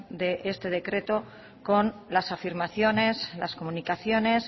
de este decreto con las afirmaciones las comunicaciones